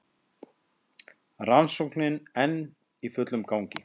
Rannsóknin enn í fullum gangi